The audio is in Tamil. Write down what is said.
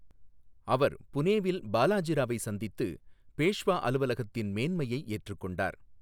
அவர் புனேவில் பாலாஜி ராவை சந்தித்து, பேஷ்வா அலுவலகத்தின் மேன்மையை ஏற்றுக்கொண்டார்.